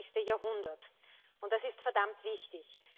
21. Jahrhundert. Und das ist verdammt wichtig!